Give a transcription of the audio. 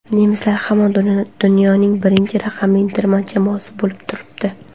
Nemislar hamon dunyoning birinchi raqamli terma jamoasi bo‘lib turibdi.